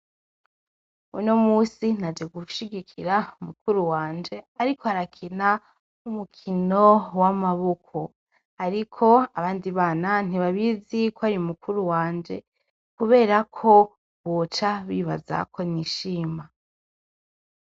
Unomunsi, naje gushigikira mukuru wanje, arik'arakina umukino w' amaboko. Ariko, abandi bana ntibabizi k'ari mukuru wanje, kubera ko boca bibaza ko nishima.